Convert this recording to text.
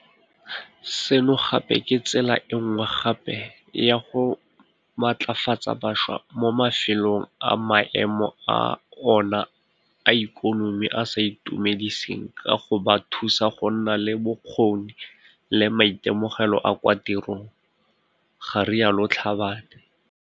Seno gape ke tsela enngwe gape ya go matlafatsa bašwa mo mafelong a maemo a ona a ikonomi a sa itumediseng ka go ba thusa go nna le bokgoni le maitemogelo a kwa tirong, ga rialo Tlhabane.